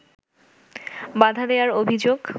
বাধা দেয়ার অভিযোগ